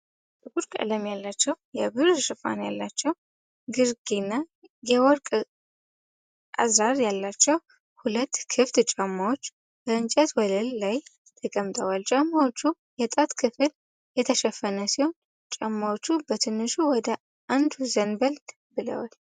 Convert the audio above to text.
ጥቁር ቀለም ያላቸው፣ የብር ሽፋን ያላቸው ግርጌና የወርቅ አዝራር ያላቸው ሁለት ክፍት ጫማዎች በእንጨት ወለል ላይ ተቀምጠዋል። ጫማዎቹ የጣት ክፍል የተሸፈነ ነው። ጫማዎቹ በትንሹ ወደ አንዱ ዘንበል ብለዋል።